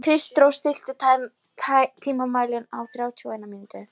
Kristrós, stilltu tímamælinn á þrjátíu og eina mínútur.